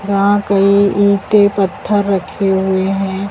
यहां कई ईंटें पत्थर रखे हुए हैं।